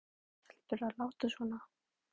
En af hverju þurfa stelpur að láta svona?